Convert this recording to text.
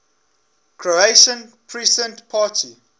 croatian peasant party